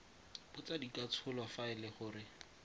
botsadikatsholo fa e le gore